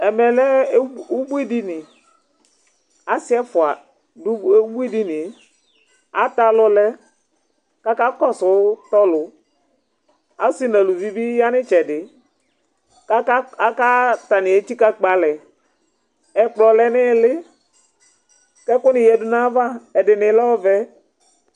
ɛmɛlɛ ubuidini ɑsiɛfuɑ du ubuidiniɛ ɑtɛɑlulɛ kɑkɑkɔsutolu ɑsi nɑluvibi yɑnitsɛdi kɑƙa ɑtɑ niɛtsikɑkpɛɑlɛ ɛkplo lɛnïli kɛkuniyɛdunɑvɑ ɛdini lɛ ɔvɛ